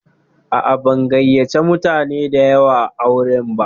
A'a, ban gayyace mutane da yawa auren ba.